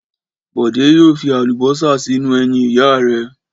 Bọ̀dé yóò fi àlùbọ́sà sínú ẹyin ìyá rẹ̀.